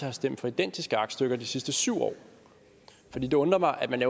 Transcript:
har stemt for identiske aktstykker de sidste syv år for det undrer mig at man